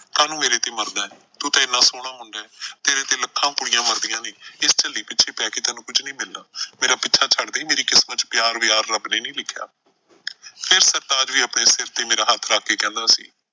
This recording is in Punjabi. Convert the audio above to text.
ਕਾਹਨੂੰ ਮੇਰੇ ਤੇ ਮਰਦੈਂ, ਤੂੰ ਤਾਂ ਐਨਾ ਸੋਹਣਾ ਮੁੰਡਾ ਐ। ਤੇਰੇ ਤੇ ਲੱਖਾਂ ਕੁੜੀਆਂ ਮਰਦੀਆਂ ਨੇ। ਇਸ ਝੱਲੀ ਪਿੱਛੇ ਪੈ ਕੇ ਤੈਨੂੰ ਕੁੱਛ ਨਈਂ ਮਿਲਣਾ। ਮੇਰਾ ਪਿੱਛਾ ਛੱਡਦੇ ਮੇਰੀ ਕਿਸਮਤ ਚ ਪਿਆਰ ਵਿਆਰ ਰੱਬ ਨੇ ਨਈਂ ਲਿਖਿਆ। ਫਿਰ ਸਰਤਾਜ ਵੀ ਆਪਣੇ ਸਿਰ ਤੇ ਮੇਰਾ ਹੱਥ ਰੱਖ ਕੇ ਕਹਿੰਦਾ ਸੀ।